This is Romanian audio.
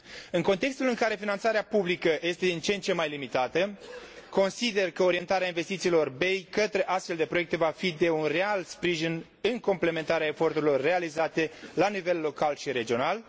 În contextul în care finanțarea publică este din ce în ce mai limitată, consider că orientarea investițiilor BEI către astfel de proiecte va fi de un real sprijin în completarea eforturilor realizate la nivel local și regional.